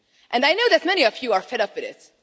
I know that many of you are fed up with this.